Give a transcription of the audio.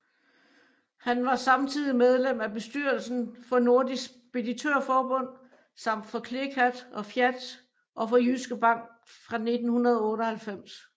Han var samtidig medlem af bestyrelsen for Nordisk Speditørforbund samt for CLECAT og FIAT og for Jyske Bank fra 1998